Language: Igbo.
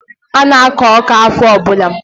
Ana akụ ọka ahọ ọbula.